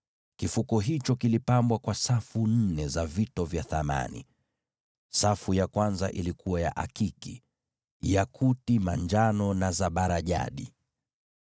Kifuko hicho kilipambwa kwa safu nne za vito vya thamani. Safu ya kwanza ilikuwa na akiki, yakuti manjano na zabarajadi;